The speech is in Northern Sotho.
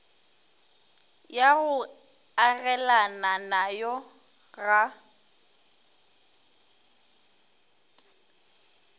ya go agelana nayo ga